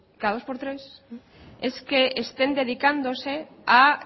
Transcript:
cada dos por tres es que estén dedicándose a